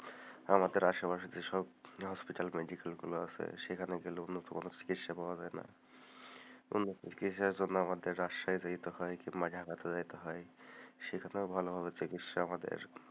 আমাদের আশেপাশে যেসব hospital medical গুলো আছে সেখানে উন্নতমানের চিকিৎসা পাওয়া যায় না, উন্নতমানের চিকিৎসা পাওয়ার জন্য আমাদের রাজশাহী যেতে হয় কিংবা যেতে হয় সেখানেও ভালোভাবে চিকিৎসা আমাদের,